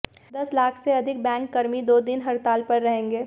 दस लाख से अधिक बैंककर्मी दो दिन हड़ताल पर रहेंगे